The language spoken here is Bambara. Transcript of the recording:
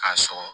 K'a sɔgɔ